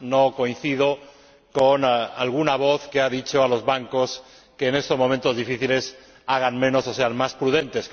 No coincido con alguna voz que ha dicho a los bancos que, en estos momentos difíciles, hagan menos o sean más prudentes.